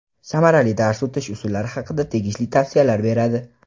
samarali dars o‘tish usullari haqida tegishli tavsiyalar beradi;.